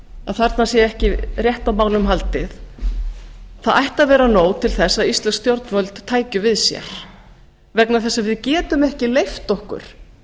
að þarna sé ekki rétt á málum haldið það ætti að vera nóg til þess að íslensk stjórnvöld tækju við sér vegna þess að við getum ekki leyft okkur